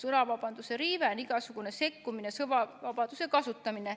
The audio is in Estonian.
Sõnavabaduse riive on igasugune sekkumine sõnavabaduse kasutamisse.